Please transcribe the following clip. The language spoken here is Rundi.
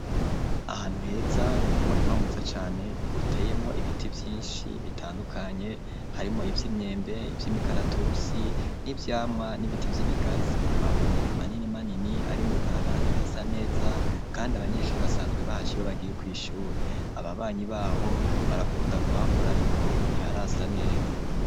Ahantu heza, umurima mwiza cane uteyemwo, ibiti byinshi bitandukanye harimo iby'imyembe iby'imikaratusi n'ibyamwa n'ibiti vy'ibigazi amabuye manini manini ari mu ibarabara ridasa neza kandi abanyeshuri basanzwe bahaca iyo bagiye ku ishuri ababanyi baho barakunda kuhakora ariko ntiharasa neza.